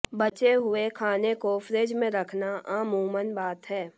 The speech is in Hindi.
बचे हुए खाने को फ्रिज में रखना आमूमन बात है